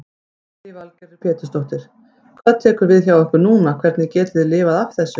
Lillý Valgerður Pétursdóttir: Hvað tekur við hjá ykkur núna, hvernig getið þið lifað af þessu?